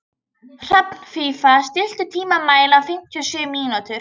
Hrafnfífa, stilltu tímamælinn á fimmtíu og sjö mínútur.